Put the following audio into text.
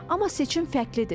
Amma seçim fərqlidir.